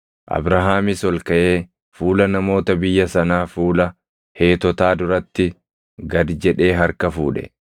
Abrahaamis ol kaʼee fuula namoota biyya sanaa fuula Heetotaa duratti gad jedhee harka fuudhe.